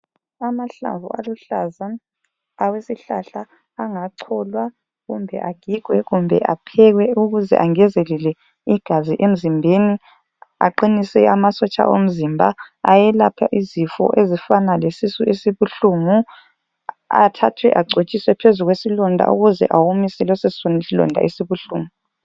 Amahlamvu aluhlaza awesihlahla angacholwa kumbe agigwe kumbe aphekwe ukuze angezelele igazi emzimbeni, aqinise amasotsha omzimba ayelaphe izifo ezifana lesisu esibuhlungu, athathwe agcotshwe phezu kwesilonda ukuze awomise leso silonda esibuhlungu.